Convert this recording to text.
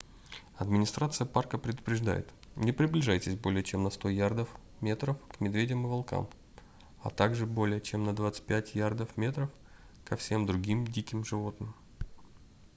администрация парка предупреждает: не приближайтесь более чем на 100 ярдов/метров к медведям и волкам а также более чем на 25 ярдов/метров ко всем другим диким животным!